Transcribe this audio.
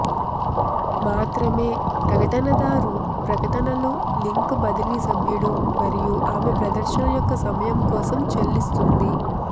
మాత్రమే ప్రకటనదారు ప్రకటనలు లింక్ బదిలీ సభ్యుడు మరియు ఆమె ప్రదర్శన యొక్క సమయం కోసం చెల్లిస్తుంది